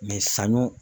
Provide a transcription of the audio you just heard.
saɲɔ